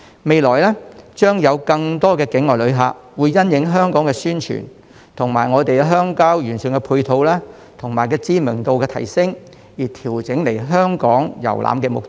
未來將有更多境外旅客會因應香港的宣傳，以及我們鄉郊完善的配套、鄉郊景點知名度的提升而調整來港遊覽的目的。